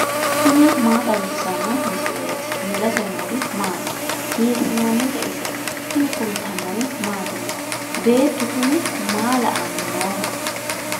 tini maa xawissanno misileeti ? mulese noori maati ? hiissinannite ise ? tini kultannori mattiya? beettu kunni ma la'anni nooho?